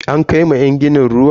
An kai ma yan ginin ruwa?